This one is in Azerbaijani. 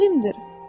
Alimdir.